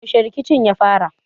Yaushe rikicin ya fara?